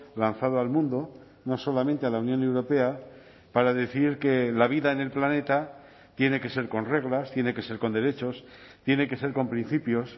lanzado al mundo no solamente a la unión europea para decir que la vida en el planeta tiene que ser con reglas tiene que ser con derechos tiene que ser con principios